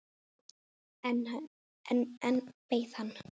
En enn beið hann.